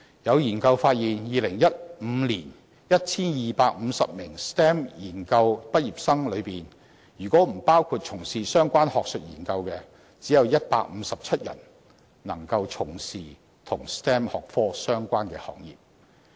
有研究發現，在2015年 ，1,250 名 STEM 研究畢業生中，如果剔除從事相關學術研究的，便只有157人能夠從事與 STEM 學科相關的行業。